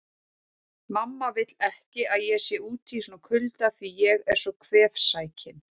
Mamma vill ekki að ég sé úti í svona kulda því ég er svo kvefsækinn